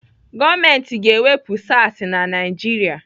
Gọọmenti ga-ewepụ SARs na Naijiria.